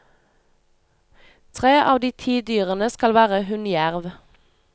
Tre av de ti dyrene skal være hunnjerv.